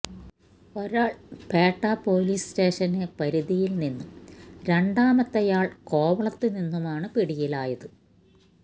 ഒരാള് Petta police station പരിധിയില് നിന്നും രണ്ടാമത്തെയാള് കോവളത്തുനിന്നുമാണ് പിടിയിലാത്